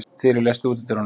Þyrí, læstu útidyrunum.